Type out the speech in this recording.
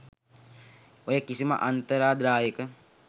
ඔය කිසිම අන්තරාදායක